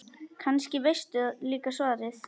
Kannski veistu líka svarið.